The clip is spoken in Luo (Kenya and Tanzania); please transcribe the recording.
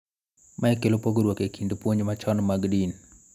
Mae kelo pogruok e kind puonj machon mag din .